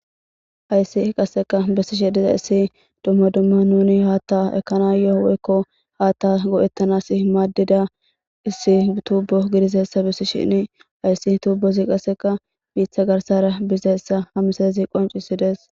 Haysi qaseka besshe dizays dumma dumma nuni hata ekanayo woyko hata go'tanas madida issi tubo gididaysa besishin hase tubozi qaseka bita garsara bizaysa ha misilezi nusu qoncisides